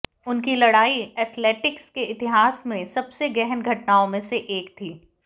उनकी लड़ाई एथलेटिक्स के इतिहास में सबसे गहन घटनाओं में से एक थी